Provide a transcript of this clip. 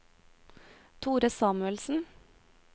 Thore Samuelsen